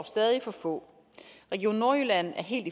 stadig for få region nordjylland er helt